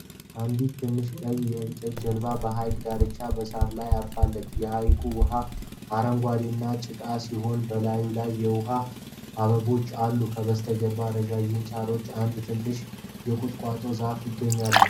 አንዲት ትንሽ ቀይ የእንጨት ጀልባ በሐይቅ ዳርቻ በሣር ላይ አርፋለች። የሐይቁ ውሃ አረንጓዴና ጭቃማ ሲሆን፣ በላዩ ላይ የውሃ አበቦች አሉ። ከበስተጀርባው ረዣዥም ሣሮችና አንድ ትንሽ የቁጥቋጦ ዛፍ ይገኛሉ።